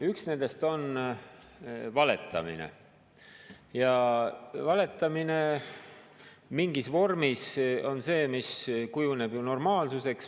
Üks nendest on valetamine ja valetamine mingis vormis kujuneb ju normaalsuseks.